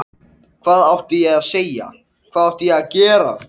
Hvað átti ég að segja, hvað átti ég að gera?